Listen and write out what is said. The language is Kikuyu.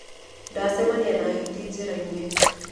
Ndacemania na hiti njĩra-inĩ.